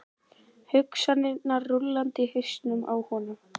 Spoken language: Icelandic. Hugsanirnar rúllandi í hausnum á honum.